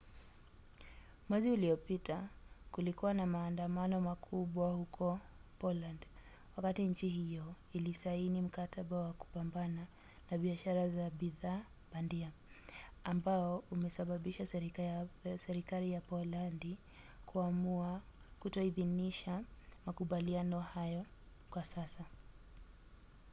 mwezi uliopita kulikuwa na maandamano makubwa huko poland wakati nchi hiyo ilisaini mkataba wa kupambana na biashara za bidhaa bandia ambao umesababisha serikali ya polandi kuamua kutoidhinisha makubaliano hayo kwa sasa